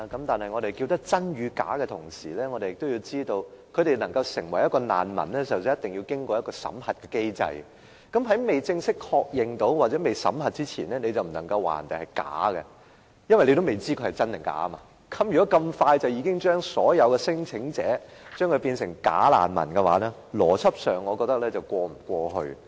但是我們說真與假的同時，也要知道他們能夠成為一名難民之前，必須經過一個審核的機制，而在正式確認或審核之前，是不能夠說別人是假的，因為尚未知真假，如果這麼快便將所有聲請者歸類為"假難民"，我覺得邏輯上是說不過去。